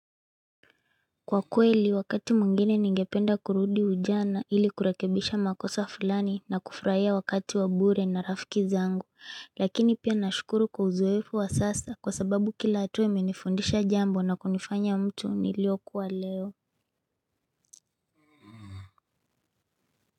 Kwa kweli wakati mwingine ningependa kurudi ujana ili kurakebisha makosa fulani na kufraia wakati wa bure na rafiki zangu lakini pia nashukuru kwa uzwefu wa sasa kwa sababu kila atue umenifundisha jambo na kunifanya mtu nilio kuwa leo.